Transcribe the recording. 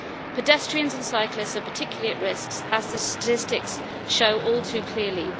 Pedestrians and cyclists are particularly at risk, as the statistics show all too clearly.